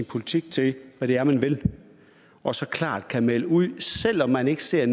politik til hvad det er man vil og så klart kan melde ud selv om man ikke ser